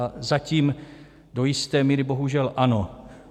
A zatím do jisté míry bohužel ano.